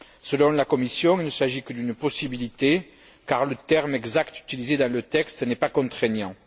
Selon la Commission, il ne s'agit que d'une possibilité car le terme exact utilisé dans le texte n'est pas contraignant.